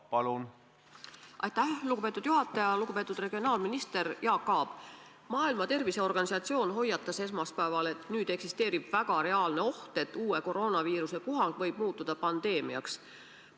Eelmine neljapäev meil oli selleteemaline arutelu valitsuskabinetis, kus tehti konkreetsed ettepanekud ka hädaolukorra seaduse muutmiseks.